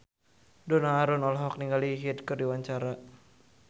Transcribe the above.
Donna Harun olohok ningali Hyde keur diwawancara